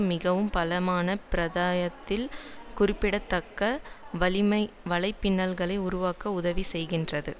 மிக பலமான பிராந்தியத்தில் குறிப்பிடத்தக்க வலைப்பின்னல்களை உருவாக்க உதவி செய்திருக்கிறது